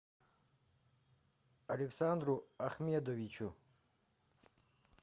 александру ахмедовичу